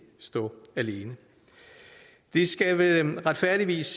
stå alene det skal retfærdigvis